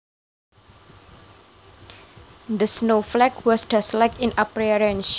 The snowflake was dustlike in appearence